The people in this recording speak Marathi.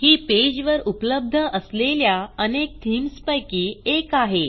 ही पेजवर उपलब्ध असलेल्या अनेक थीम्स पैकी एक आहे